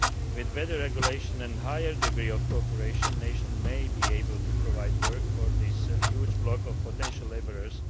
With better regulation and a higher degree of cooperation, nations may be able to provide work for this huge block of potential labourers.